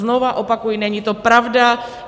Znova opakuji, není to pravda.